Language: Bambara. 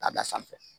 K'a da sanfɛ